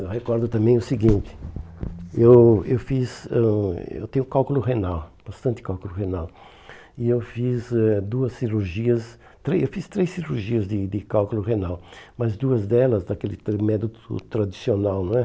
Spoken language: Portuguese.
Eu recordo também o seguinte, eu eu fiz eu eu tenho cálculo renal, bastante cálculo renal, e eu fiz eh duas cirurgias, três eu fiz três cirurgias de de cálculo renal, mas duas delas daquele foi método tradicional, não é?